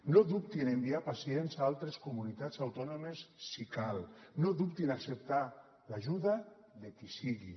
no dubtin a enviar pacients a altres comunitats autònomes si cal no dubtin a acceptar l’ajuda de qui sigui